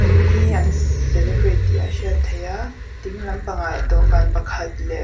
ni an celebrate tih a hriat theih a dinglam pangah dawhkan pakhat leh--